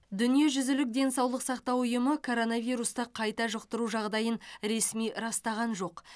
дүниежүзілік денсаулық сақтау ұйымы коронавирусты қайта жұқтыру жағдайын ресми растаған жоқ